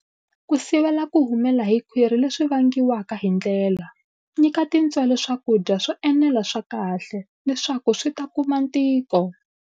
Ku sivela ku humela hi khwiri leswi vangiwaka hi ndlela, nyika tintswele swakudya swo enela swa kahle leswaku swi ta kuma ntiko.